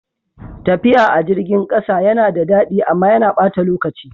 Tafiya a jirgin ƙasa yana da daɗi amma yana ɓata lokaci.